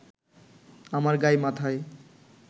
আমার গায় মাথায়